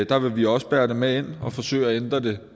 der vil vi også bære det med ind og forsøge at ændre det